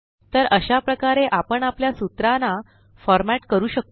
तर अशा प्रकारे आपण आपल्या सूत्राना फॉर मॅट करू शकतो